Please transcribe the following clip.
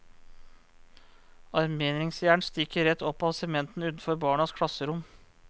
Armeringsjern stikker rett opp av sementen utenfor barnas klasserom.